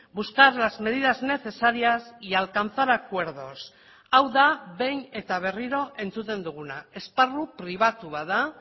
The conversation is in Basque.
buscar las medidas necesarias y alcanzar acuerdos hau da behin eta berriro entzuten duguna esparru pribatu bat da